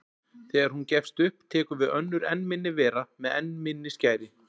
Þegar hún gefst upp tekur við önnur enn minni vera með enn minni skæri.